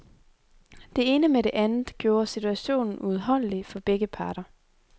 Det ene med det andet gjorde situationen uudholdelig for begge parter.